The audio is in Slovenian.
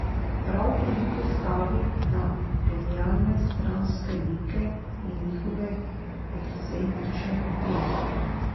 Prav toliko stavi na genialne stranske like in njihove ekscentrične poteze.